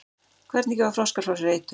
hvernig gefa froskar frá sér eitur